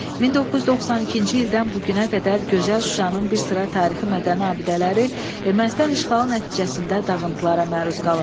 1992-ci ildən bu günə qədər gözəl Şuşanın bir sıra tarixi mədəni abidələri Ermənistan işğalı nəticəsində dağıntılara məruz qalıb.